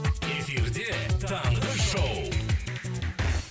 эфирде таңғы шоу